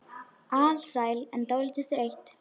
Alsæl en dálítið þreytt.